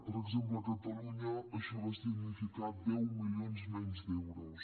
per exemple a catalunya això va significar deu milions menys d’euros